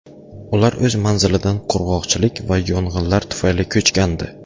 Ular o‘z manzilidan qurg‘oqchilik va yong‘inlar tufayli ko‘chgandi.